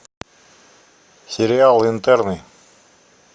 сериал интерны